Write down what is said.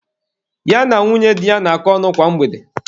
Ya na nwunye di ya na-akọ ọnụ kwa mgbede.